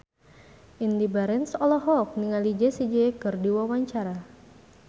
Indy Barens olohok ningali Jessie J keur diwawancara